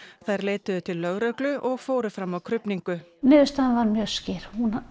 þær leituðu til lögreglu og fóru fram á krufningu niðurstaðan var mjög skýr